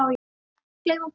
Ekki gleyma að borða.